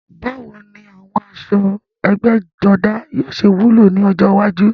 Báwo ni àwọn aṣọ ẹgbẹ́jọdá yóò ṣe wúlò ní ọjọ́ iwájú?